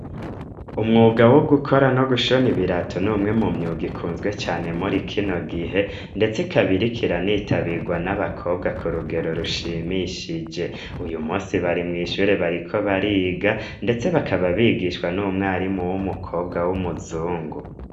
Umwuga wo gukora no gushona ibirato n'umwe mu myuga ikunzwe cane muri kino gihe, ndetse kabiri kiranitabirwa n'abakobwa ku rugero rushimishije uyu musi bari mw'ishure bariko bariga, ndetse bakaba bigishwa n'umwarimu w'umukobwa w'umuzungu.